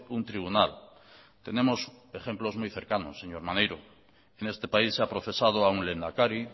un tribunal tenemos ejemplos muy cercanos señor maneiro en este país se ha procesado a un lehendakari